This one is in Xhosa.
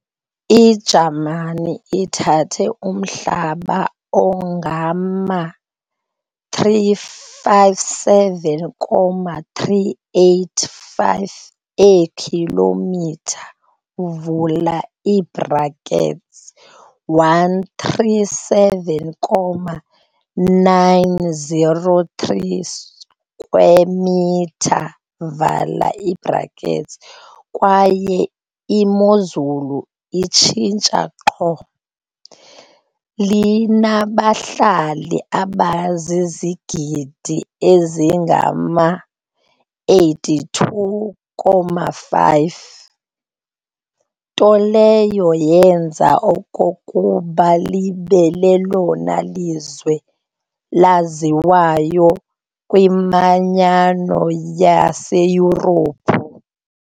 I-Jamani ithathe umhlaba ongangama-357,385 eekhilomitha, 137,903 sq mi, kwaye imozulu itshintsha qho. Linabahlali abazizigidi ezingama-82.5, nto leyo yenza okokuba libe lelona lizwe laziwayo kwiManyano yaseYurophu.